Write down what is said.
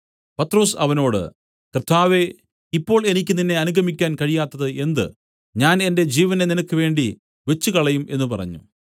പത്രൊസ് അവനോട് കർത്താവേ ഇപ്പോൾ എനിക്ക് നിന്നെ അനുഗമിക്കുവാൻ കഴിയാത്തത് എന്ത് ഞാൻ എന്റെ ജീവനെ നിനക്ക് വേണ്ടി വെച്ചുകളയും എന്നു പറഞ്ഞു